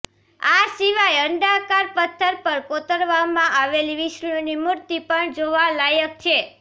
આ સિવાય અંડાકાર પથ્થર પર કોતરવામાં આવેલી વિષ્ણુની મૂર્તિ પણ જોવાલાયક છે